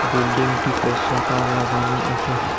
বিল্ডিংটিতে শাটার লাগানো আসে ।